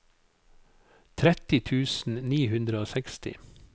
tretti tusen ni hundre og seksti